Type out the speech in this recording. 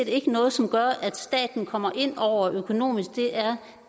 ikke noget som gør at staten kommer ind over økonomisk det er